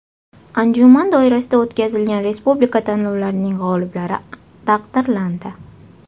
Anjuman doirasida o‘tkazilgan Respublika tanlovlarining g‘oliblari taqdirlandi.